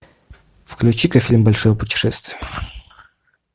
включи ка фильм большое путешествие